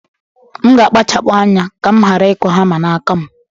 M ga-akpachapụ anya ka m ghara ikụ hama n'aka m.